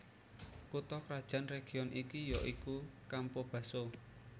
Kutha krajan region iki ya iku Campobasso